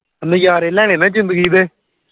ਨਜਾਰੇ ਲੈਣੇ ਨਾ ਜਿੰਦਗੀ ਦੇ